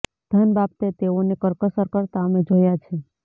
ધન બાબતે તેઓને કરકસર કરતા અમે જોયા છે